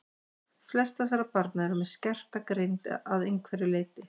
Flest þessara barna eru með skerta greind að einhverju leyti.